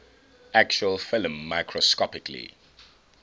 actual film microscopically